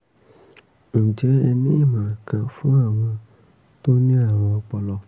ǹjẹ́ ẹ ní ìmọ̀ràn kan fún àwọn tó ní àrùn ọpọlọ?